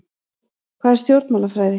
Hvað er stjórnmálafræði?